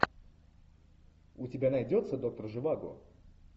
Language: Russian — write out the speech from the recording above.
у тебя найдется доктор живаго